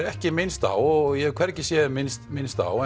ekki er minnst á og ég hef hvergi séð minnst minnst á